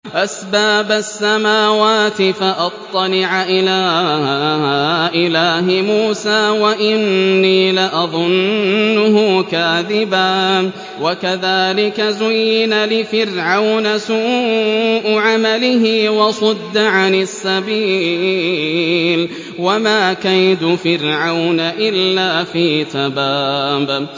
أَسْبَابَ السَّمَاوَاتِ فَأَطَّلِعَ إِلَىٰ إِلَٰهِ مُوسَىٰ وَإِنِّي لَأَظُنُّهُ كَاذِبًا ۚ وَكَذَٰلِكَ زُيِّنَ لِفِرْعَوْنَ سُوءُ عَمَلِهِ وَصُدَّ عَنِ السَّبِيلِ ۚ وَمَا كَيْدُ فِرْعَوْنَ إِلَّا فِي تَبَابٍ